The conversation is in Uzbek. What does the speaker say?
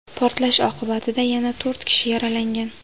Portlash oqibatida yana to‘rt kishi yaralangan.